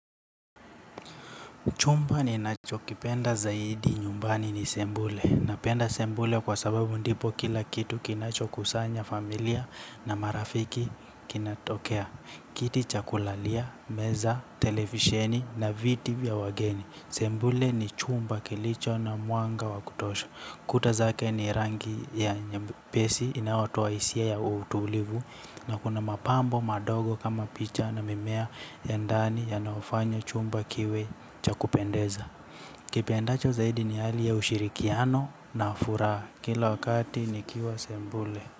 Chumba ninachokipenda zaidi nyumbani ni sebule. Napenda sebule kwa sababu ndipo kila kitu kinacho kusanya familia na marafiki kinatokea. Kiti cha kulalia, meza, televisheni na viti vya wageni. Sebule ni chumba kilicho na mwanga wa kutosha. Kuta zake ni rangi ya nyepesi inayotoa hisia ya utulivu. Na kuna mapambo madogo kama picha na mimea ya ndani yanayofanya chumba kiwe cha kupendeza. Kipendacho zaidi ni hali ya ushirikiano na furaha kila wakati nikiwa sebule.